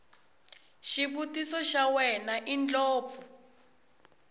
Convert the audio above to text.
xivutiso xa wena indlopfu